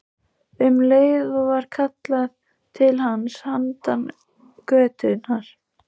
Um leið var kallað til hans handan götunnar.